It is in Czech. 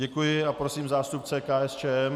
Děkuji a prosím zástupce KSČM.